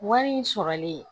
Wari in sɔrɔlen